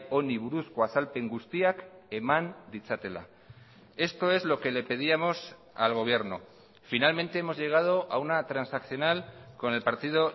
honi buruzko azalpen guztiak eman ditzatela esto es lo que le pedíamos al gobierno finalmente hemos llegado a una transaccional con el partido